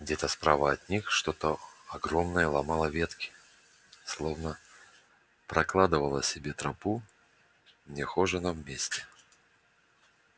где-то справа от них что-то огромное ломало ветки словно прокладывало себе тропу в нехоженом месте